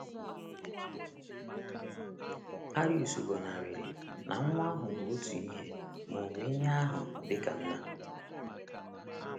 Arius gọnarịrị na Nwa ahụ bụ otu ihe ma ọ bụ ihe ahụ dị ka Nna.